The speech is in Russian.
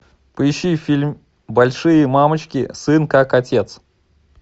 поищи фильм большие мамочки сын как отец